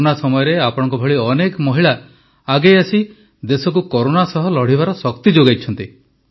corona ସମୟରେ ଆପଣଙ୍କ ଭଳି ଅନେକ ମହିଳା ଆଗେଇ ଆସି ଦେଶକୁ କରୋନା ସହ ଲଢ଼ିବାର ଶକ୍ତି ଯୋଗାଇଛନ୍ତି